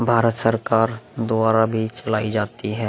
भारत सरकार द्वारा भी चलाई जाती है।